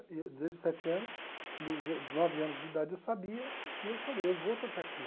E desde os sete anos, dos o dos nove anos de idade eu sabia e eu falei, eu vou tocar aqui.